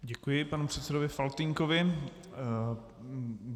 Děkuji panu předsedovi Faltýnkovi.